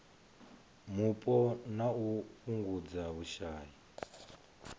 mupo na u fhungudza vhushai